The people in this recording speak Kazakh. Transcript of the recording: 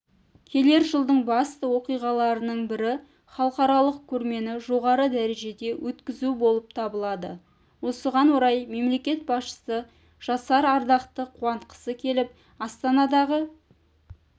келер жылдың басты оқиғаларының бірі халықаралық көрмені жоғары дәрежеде өткізу болып табылады осыған орай мемлекет басшысы жасар ардақты қуантқысы келіп астанадағы